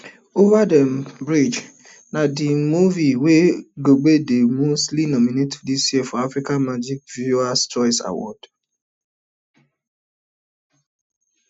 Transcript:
over the um bridge na di movie wey go di most nomination for dis year africa magic viewers choice awards